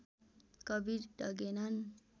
Kabir डगेनन्